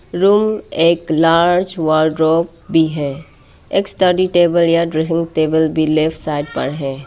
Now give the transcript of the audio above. Room एक large wardrobe भी है एक स्टडी टेबल या टेबल भी लेफ्ट साइड पर है।